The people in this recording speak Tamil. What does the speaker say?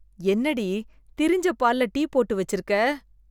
என்னடி, திரிஞ்ச பால்ல டீ போட்டு வெச்சிருக்க.